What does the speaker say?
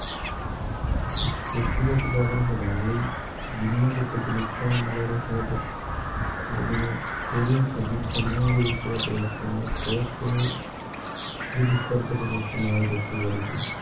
ਖੇਤੀ ਦਾ ਉਤਪਾਦਨ ਵਧਾਉਣ ਲਈ ਜਿੰਨੀਆਂ ਕੁ ਤਕਨੀਕਾਂ ਮੈਨੂੰ ਲੱਗਦਾ ਸ਼ਾਇਦ ਕਿ ਜਿਹੜੀਆਂ ਥੋੜ੍ਹੀਆਂ ਸਦੀ ਸਦੀਆਂ ਦੇ ਵਿੱਚ ਪਰਿਵਰਤਨ ਹੋਏ, ਬਹੁਤ ਯੁੱਧ ਸਤਰ ਤੇ ਪਰਿਵਰਤਨ ਆਇਆ ਖੇਤੀਬਾੜੀ 'ਚ